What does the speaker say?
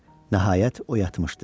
Nəhayət, o yatmışdı.